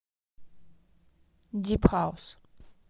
дип хаус